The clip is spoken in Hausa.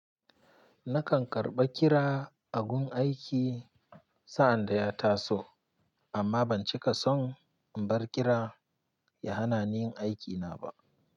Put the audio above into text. Nakan karɓa kira a gun aiki sa'an da ya taso amma ban cika son in bar kira ya hana ni yin aiki na ba.